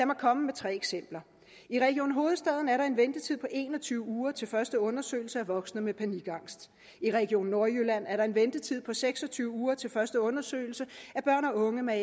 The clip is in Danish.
mig komme med tre eksempler i region hovedstaden er der en ventetid på en og tyve uger til første undersøgelse af voksne med panikangst i region nordjylland er der en ventetid på seks og tyve uger til første undersøgelse af børn og unge med